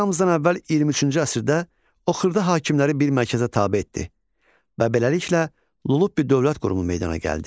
Eramızdan əvvəl 23-cü əsrdə o xırda hakimləri bir mərkəzə tabe etdi və beləliklə Lullubi dövlət qurumu meydana gəldi.